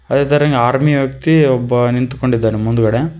ಆರ್ಮಿಯ ವ್ಯಕ್ತಿ ಒಬ್ಬ ನಿಂತುಕೊಂಡಿದ್ದನೆ ಮುಂದುಗಡೆ.